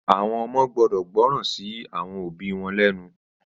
Àwọn ọmọ gbọ́dọ̀ gbọ́ràn sí àwọn òbí wọn lénu.